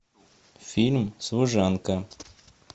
фильм служанка